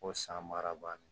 Ko san baara bannen